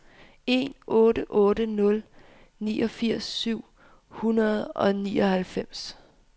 en otte otte nul niogfirs syv hundrede og nioghalvfems